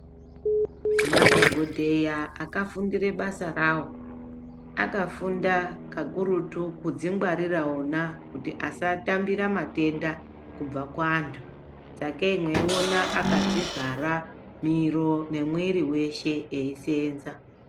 Madhogodheya akafundire basa rawo, akafunda kakurutu kudzingwarira vona kuti asatambira matenda kubva kuwantu, sakei mweiona akadzivhara miro nemwiiri weshe eiseenza.